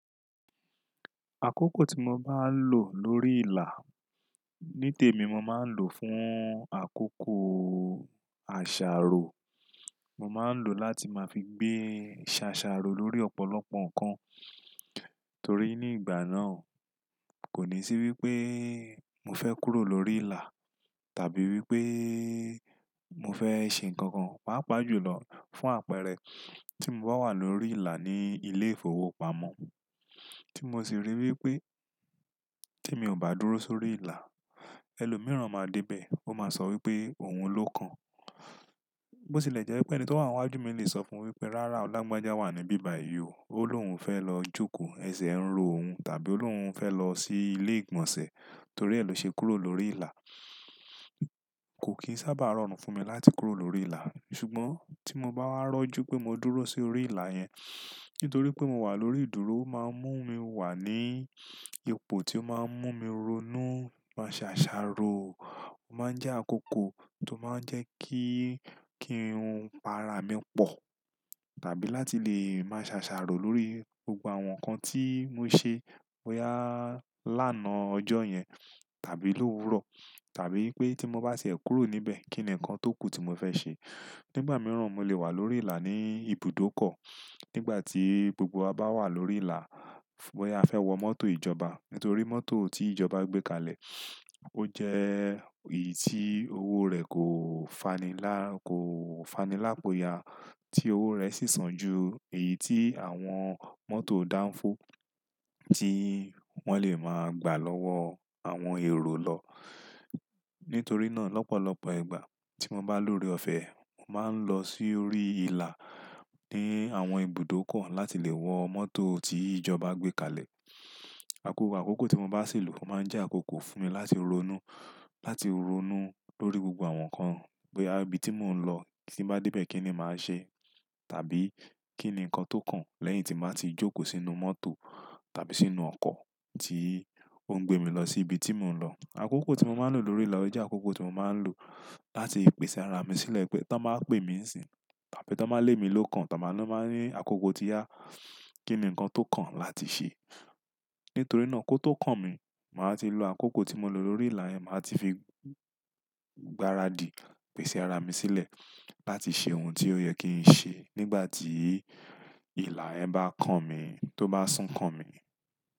Àkókò tí mo bá lọ̀ lórí ilà, ní tèmi mo máa ń lò fún àkókò àṣàrò. Mo máa ń lò láti máa fi gbé ṣàṣàrò lórí ọ̀pọ̀lọpọ̀ ǹkan. Torí ní ìgbà náà kò ní sí wípé mo fẹ́ kúrò lórí ilà tàbí wípé mo fẹ́ ṣe ǹkankan, pàápàá jùlọ fún àpẹẹrẹ tí mo bá wà lórí ilà ní ilé ìfowópamọ́, tí mo sì rí wípé tí mi ò bá dúró sórí ilà, ẹlòmíràn máa dé bẹ, ó máa sọ wípé òun ló kan. Bó sì lè jẹ́ wípé ẹni tó wà níwájú mi lè sọ fún wípé, rárá, lagbàjà wà níbí bayii o, ó lóun fẹ́ lọ jókòó, ẹsẹ̀ ń ro òun tàbí ó lóun fẹ́ lọ sí ilé ìgbọ̀nsẹ̀ torí ẹ ló ṣe kúrò lórí ilà. Kò kìí sábà rọrùn fún mi láti kúrò lórí ilà. Ṣùgbọ́n tí mo bá wá rọ́ jú pé mo dúró sórí ilà yẹn, nítorí pé mo wà lórí ìdúró, ó máa ń mú mi wà ní ipò tí ó máa ń mú mi ronú máṣàṣàrò. Ó máa ń jẹ́ àkókò tó máa ń jẹ́ kí, kí kiun para mi pọ̀. Tàbí láti lè máṣàṣàrò lórí gbogbo àwọn ǹkan tí mo ṣe bóyá lánàá ọjọ́ yẹn tàbí lówuro tàbí wípé tí mo bá sì ẹ kúrò níbẹ̀, kí ni ǹkan tó kù tí mo fẹ́ ṣe. Nígbà mìíràn mo lè wà lórí ilà ní ibùdókọ̀. Nígbà tí gbogbo wa bá wà lórí ilà, bóyá a fẹ́ wọ mọ́tò ìjọba nítorí mọ́tò tí ìjọba gbé kalẹ̀ ó jẹ́ èyí tí owó rẹ̀ kò fani là, kò fanilápoyà tí owó rẹ̀ sì sàn ju èyí tí àwọn mọ́tò dánfó tí wọ́n lè máa gbà lọ́wọ́ àwọn èrò lọ. Nítorí náà lọ́pọ̀lọpọ̀ ìgbà tí mo bá lọ́rí ọ̀fẹ́, mo máa ń lọ sórí ilà ní àwọn ibùdókọ̀ láti lè wọ mọ́tò tí ìjọba gbé kalẹ̀. Àkókò, àkókò tí mo bá sì lò, ó máa ń jẹ́ àkókò fún mi láti ronú, láti ronú lórí gbogbo àwọn ǹkan, boya ibi tí mò ń lọ, tín bá dé bẹ́ẹ̀ kí ni màá ṣe? Tàbí kí ni ǹkan tó kàn lẹ́yìn tí màá ti jókòó sínú mọ́tò tàbí sínú ọkọ̀ tí ó ń gbé mi lọ sí ibi tí mò ń lọ. Àkókò tí mo máa ń lò lórí ilà jẹ́ àkókò tí mo máa ń lò láti pèsè ara mi sílẹ̀ pé tọ máa pè mí síbi tàbí tọ máa lé mi lókan, tọ bá, ton ba ní àkókò tí yá kí ni ǹkan tó kàn láti ṣe. Nítorí náà kó tó kàn mi, màá ti lo àkókò tí mo lò lórí ilà yẹn, màá ti fi gbáradì pèsè ara mi sílẹ̀ láti ṣe oun tí ó yẹ kí n ṣe nígbà tí ìlà yẹn bá kàn mi, tó bá sún kàn mi.